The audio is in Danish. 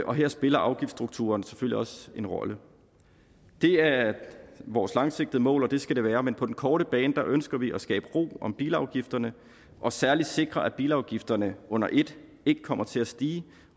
og her spiller afgiftsstrukturen selvfølgelig også en rolle det er vores langsigtede mål og det skal det være men på den korte bane ønsker vi at skabe ro om bilafgifterne og særligt sikre at bilafgifterne under et ikke kommer til at stige